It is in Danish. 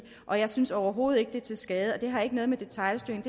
og jeg synes overhovedet ikke det er til skade det har ikke noget med detailstyring